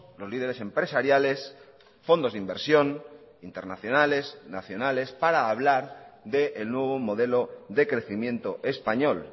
los lideres empresariales fondos de inversión internacionales nacionales para hablar del nuevo modelo de crecimiento español